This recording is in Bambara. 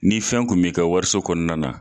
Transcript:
Ni fɛn kun b'i ka wariso kɔnɔna na